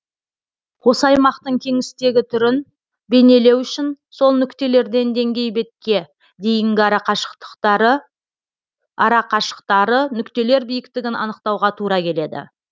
осы аймақтың кеңістегі түрін бейнелеу үшін сол нүктелерден деңгей бетке дейінгі арақашықтары нүктелер биіктігін анықтауға тура келеді